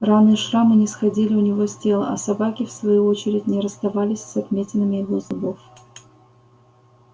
раны и шрамы не сходили у него с тела а собаки в свою очередь не расставались с отметинами его зубов